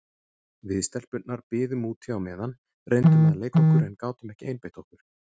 Við stelpurnar biðum úti á meðan, reyndum að leika okkur en gátum ekki einbeitt okkur.